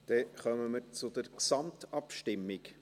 Dann kommen wir zur Gesamtabstimmung.